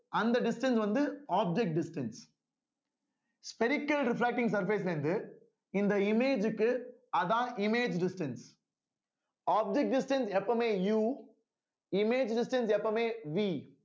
அந்த distance வந்து object distance spherical refacting surface ல இருந்து இந்த image க்கு அதான் image distance object distance எப்பவுமே U image distance எப்பவுமே V